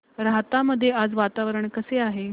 राहता मध्ये आज वातावरण कसे आहे